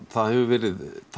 það hefur verið